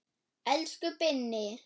Elsku Binni.